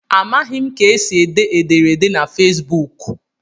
Amaghị m ka esi ede ederede na Facebuk.